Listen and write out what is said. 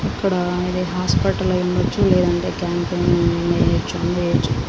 ఇక్కడా ఇది హాస్పిటల్ అయ్యుండొచ్చు. లేదంటే క్యాంప్ అయినా --